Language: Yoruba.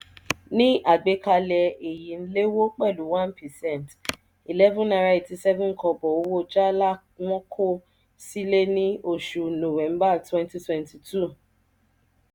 ní àgbékalẹ̀ èyí n lewo pẹlu one percent +₦ eleven point eight seven owó jala wọn kò sílè ní oṣù nowẹmba twenty twenty two.